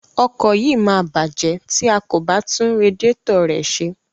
Ọkọ̀ yìí máa bàjẹ́ tí a kò bá tún radiẹ́tọ̀ rẹ̀ ṣe.